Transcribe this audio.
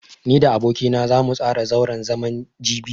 Ni da aboki na zamu tsara zauren zaman jibi.